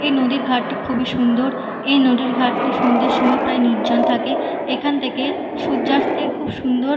এই নদির ঘাটটি খুবই সুন্দর। এই নদীর ঘাটটি সন্ধ্যের সময় প্রায় নির্জন থাকে। এখান থেকে সূর্যাস্তের খুব সুন্দর--